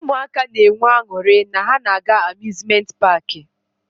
Ụmụaka nwere aṅụrị na ha na-aga amuzment paki.